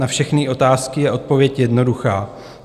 Na všechny otázky je odpověď jednoduchá.